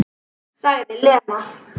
Sagði Lena.